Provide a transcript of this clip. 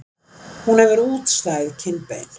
Hún hefur útstæð kinnbein.